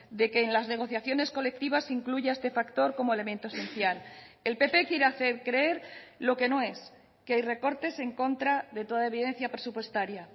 de que en las negociaciones colectivas incluya este factor como elemento esencial el pp quiere hacer creer lo que no es que hay recortes en contra de toda evidencia presupuestaria